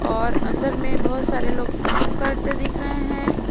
और अंदर में बहोत सारे लोग काम करते दिख रहे हैं।